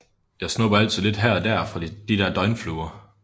Jeg snubber altid lidt her og der fra de der døgnfluer